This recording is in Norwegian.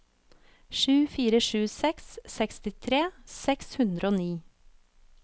sju fire sju seks sekstitre seks hundre og ni